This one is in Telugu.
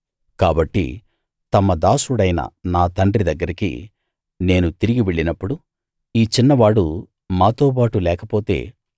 కాబట్టి తమ దాసుడైన నా తండ్రి దగ్గరికి నేను తిరిగి వెళ్ళినప్పుడు ఈ చిన్నవాడు మాతో బాటు లేకపోతే